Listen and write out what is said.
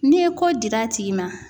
N'i ye ko dir'a tigi ma.